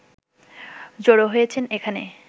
জড়ো হয়েছেন এখানে